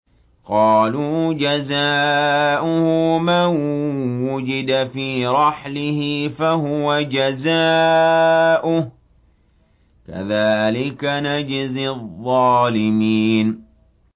قَالُوا جَزَاؤُهُ مَن وُجِدَ فِي رَحْلِهِ فَهُوَ جَزَاؤُهُ ۚ كَذَٰلِكَ نَجْزِي الظَّالِمِينَ